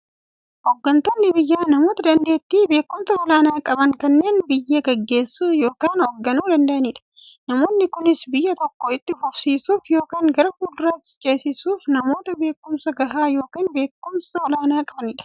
Hooggantoonni biyyaa namoota daanteettiifi beekumsa olaanaa qaban, kanneen biyya gaggeessuu yookiin hoogganuu danda'aniidha. Namoonni kunis, biyya tokko itti fufsiisuuf yookiin gara fuulduraatti ceesisuuf, namoota beekumsa gahaa yookiin beekumsa olaanaa qabaniidha.